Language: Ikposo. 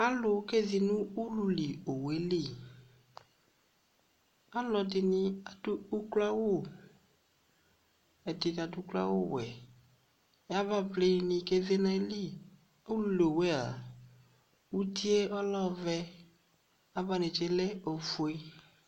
Alu kezi no ululi owue liAlɔde ne ado ukloawuƐde ne ado ukloawu wɛ, avavli ne keze na ayiliUluli owu aa, utie ɔlɛ ɔvɛ, ava netse lɛ ofue